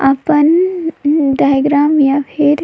आपन डायग्राम या फिर--